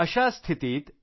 अशा स्थितीत